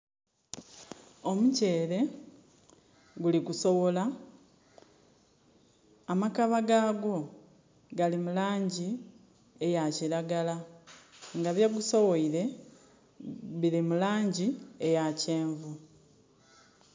Omutyeere guli kusoghola. Amakaba gagwo gali mu laangi eya kiragala. Nga bye gusoghoile bili mu laangi eya kyenvu.